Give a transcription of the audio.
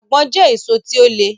Àgbọ̀n jẹ́ èso tí ó le